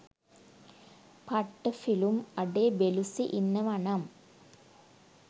පට්ට ෆිලුම් අඩේ බෙලුසි ඉන්නවනම්